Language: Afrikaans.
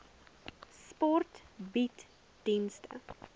sport bied dienste